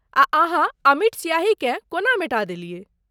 आ अहाँ अमिट स्याहीकेँ कोना मेटा देलियै?